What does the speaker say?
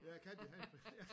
Ja katten han har fået ja